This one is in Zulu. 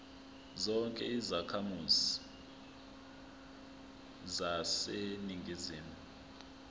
zonke izakhamizi zaseningizimu